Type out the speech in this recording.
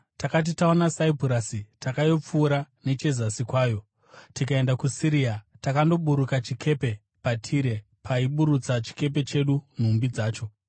Takati taona Saipurasi takaipfuura nechezasi kwayo, tikaenda kuSiria. Takandoburuka chikepe paTire, paiburutsa chikepe chedu nhumbi dzacho.